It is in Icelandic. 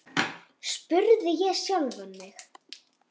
spurði ég sjálfan mig.